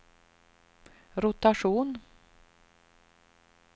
rotation